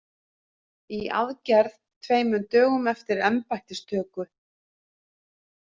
Í aðgerð tveimur dögum eftir embættistöku